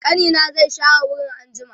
ƙanina zai share wurin anjima